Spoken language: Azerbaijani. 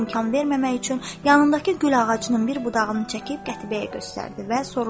imkan verməmək üçün yanındakı gül ağacının bir budağını çəkib qətiyəyə göstərdi və soruşdu: